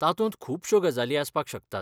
तातूंत खुबश्यो गजाली आसपाक शकतात.